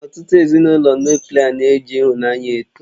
Ọtụtụ Ezinụlọ Nuklià na-eji ịhụnanya eto